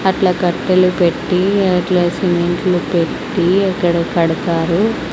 అట్లా కట్టలు పెట్టి అట్లా సిమెంట్లు పెట్టి అక్కడ కడతారు.